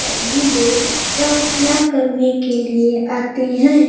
अभी लोग प्रार्थना करने के लिए आते हैं।